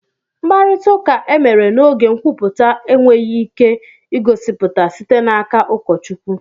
Mkparịta ụka emere n'oge nkwupụta enweghị ike igosipụta site n'aka ụkọchukwu